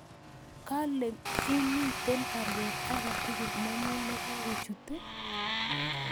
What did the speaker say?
Kale ii miten baruet age tugul nenyun negakochut ii